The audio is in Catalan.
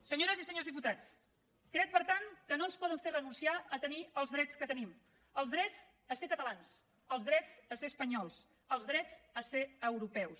senyores i senyors diputats crec per tant que no ens poden fer renunciar a tenir els drets que tenim els drets a ser catalans els drets a ser espanyols els drets a ser europeus